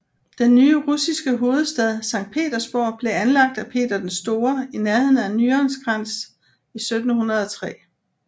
Den nye russiske hovedstad Sankt Petersborg blev anlagt af Peter den Store i nærheden af Nyenskans i 1703